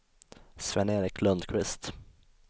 Sven-Erik Lundqvist